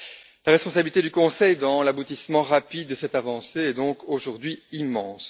La responsabilité du Conseil dans l'aboutissement rapide de cette avancée est donc aujourd'hui immense.